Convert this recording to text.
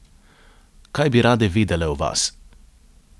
Kaj bi rade vedele o vas?